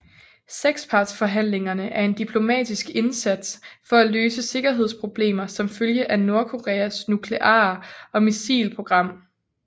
Sekspartsforhandlingerne er en diplomatisk indsats for at løse sikkerhedsproblemer som følge af Nordkoreas nukleare og missilprogram